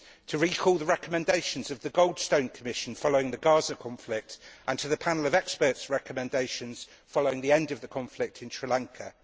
Let us recall the recommendation of the Goldstone Commission following the Gaza conflict and the Panel of Experts' recommendations following the end of the conflict in Sri Lanka.